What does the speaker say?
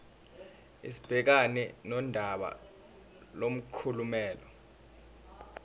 sibhekane nodaba lomklomelo